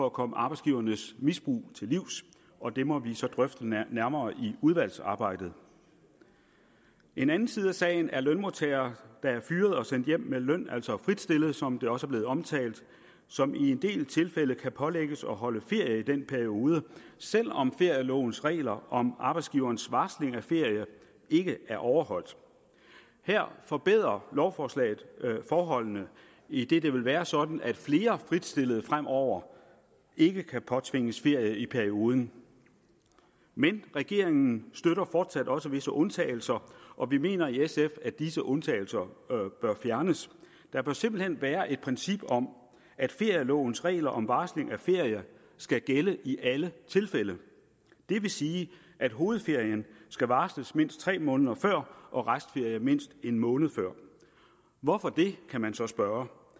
at komme arbejdsgivernes misbrug til livs og det må vi så drøfte nærmere i udvalgsarbejdet en anden side af sagen er lønmodtagere der er fyret og sendt hjem med løn altså fritstillet som det også er blevet omtalt som i en del tilfælde kan pålægges at holde ferie i den periode selv om ferielovens regler om arbejdsgiverens varsling af ferie ikke er overholdt her forbedrer lovforslaget forholdene idet det vil være sådan at flere fritstillede fremover ikke kan påtvinges ferie i perioden men regeringen støtter fortsat også visse undtagelser og vi mener i sf at disse undtagelser bør fjernes der bør simpelt hen være et princip om at ferielovens regler om varsling af ferie skal gælde i alle tilfælde det vil sige at hovedferien skal varsles mindst tre måneder før og restferie mindst en måned før hvorfor det kan man så spørge